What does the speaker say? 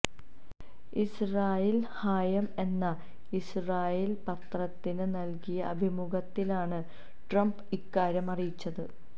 ഇസ്റാഈല് Hayom എന്ന Israel പത്രത്തിന് നല്കിയ അഭിമുഖത്തിലാണ് ട്രംപ് ഇക്കാര്യം അറിയിച്ചത്